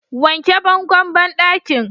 wanke bangon banɗakin!